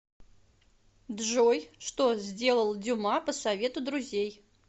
джой что сделал дюма по совету друзей